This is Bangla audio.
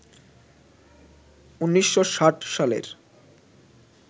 ১৯৬০ সালের